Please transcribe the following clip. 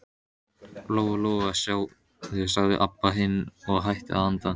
Lóa-Lóa, sjáðu, sagði Abba hin og hætti að anda.